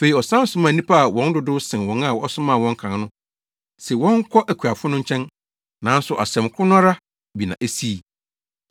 Afei ɔsan somaa nnipa a wɔn dodow sen wɔn a ɔsomaa wɔn kan no se wɔnkɔ akuafo no nkyɛn, nanso asɛm koro no ara bi na esii.